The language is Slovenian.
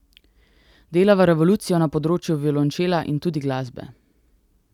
Delava revolucijo na področju violončela in tudi glasbe.